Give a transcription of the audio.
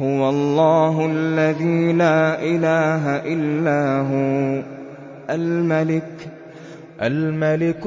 هُوَ اللَّهُ الَّذِي لَا إِلَٰهَ إِلَّا هُوَ الْمَلِكُ